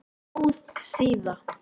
Góð síða